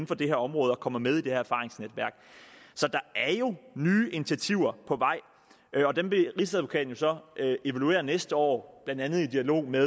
for det her område og kommer med i det her erfaringsnetværk så der er jo nye initiativer på vej og dem vil rigsadvokaten så evaluere næste år blandt andet i dialog med